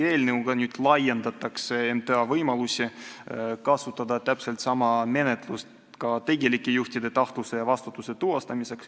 Eelnõuga laiendatakse MTA võimalusi kasutada täpselt sama menetlust ka tegelike juhtide tahtluse ja vastutuse tuvastamiseks.